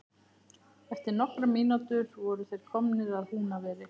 Eftir nokkrar mínútur voru þeir komnir að Húnaveri.